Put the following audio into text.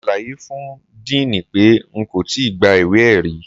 Mo ṣàlàyé fún diini pé n kò tí gba ìwé-ẹ̀rí.